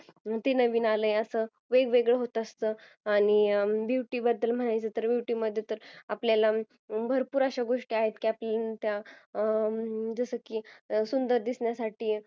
किंवा ते नवीन आल्यास वेगवेगळ् होत असतं आणि beauty बद्दल म्हणायचं तर beauty बद्दल आपल्याला भरपूर अश्या गोष्टी आहेत जस की सुंदर दिसण्यासाठी